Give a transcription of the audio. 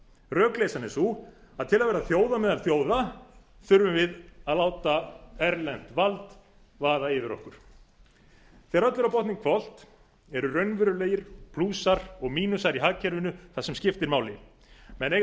rökleysan er sú að til að vera þjóð á meðal þjóða þurfum við að láta erlent vald vaða yfir okkur þegar öllu er á botninn hvolft eru raunverulegir plúsar og mínusar í hagkerfinu það sem skiptir máli menn eiga